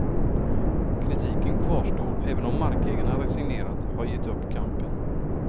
Kritiken kvarstår även om markägarna resignerat har gett upp kampen.